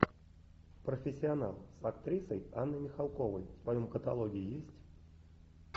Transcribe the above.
профессионал с актрисой анной михалковой в твоем каталоге есть